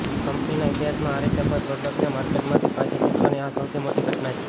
કંપનીના ઇતિહાસમાં આ રીતે કોઈ પ્રોડકટને માર્કેટમાંથી પાછી ખેંચવાની આ સૌથી મોટી દ્યટના હતી